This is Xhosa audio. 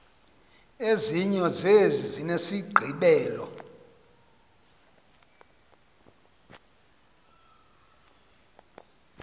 ezinye zezi zinesigqibelo